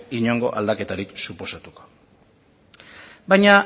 inongo aldaketari suposatuko baina